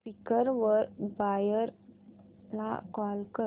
Quikr वर buyer ला call कर